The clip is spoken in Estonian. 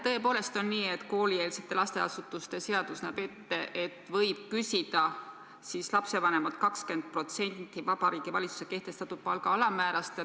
Tõepoolest on nii, et koolieelsete lasteasutuste seadus näeb ette, et võib küsida lapsevanemalt 20% Vabariigi Valitsuse kehtestatud palga alammäärast.